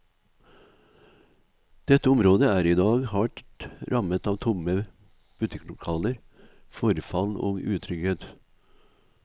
Dette området er i dag hardt rammet av tomme butikklokaler, forfall og utrygghet.